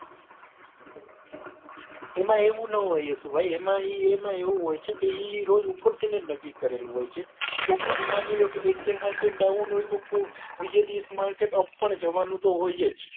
એમાં એવું ના હોય યસભાઈ એમાં ઈ એમાં એવું હોય છે કે એ રોજ ઉપર થી લઇ ને નક્કી કરેલું હોય છે કોક દી માની લો કે એક દી માટે બાવન હોય તો કોક બીજે દીવસ માટે up પણ જવા નું તો હોયજ